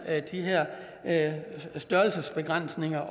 at de her størrelsesbegrænsninger